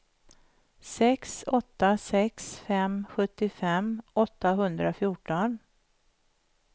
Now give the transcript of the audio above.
sex åtta sex fem sjuttiofem åttahundrafjorton